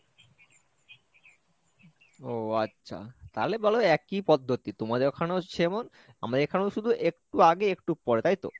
ও আচ্ছা তাহলে বলো একি পদ্ধতি তোমাদের ওখানেও সেমন আমাদের এখানে শুধু একটু আগে একটু পরে তাইতো?